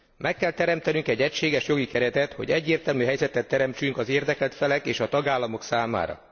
Meg kell teremtenünk egy egységes jogi keretet, hogy egyértelmű helyzetet teremtsünk az érdekelt felek és a tagállamok számára.